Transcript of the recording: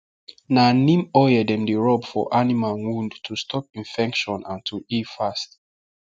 na neem oil dem dey rub for animal wound to stop infection and to heal fast